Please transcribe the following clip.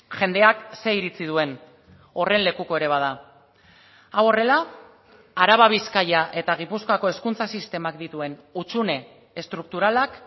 jendeak ze iritzi duen horren lekuko ere bada hau horrela araba bizkaia eta gipuzkoako hezkuntza sistemak dituen hutsune estrukturalak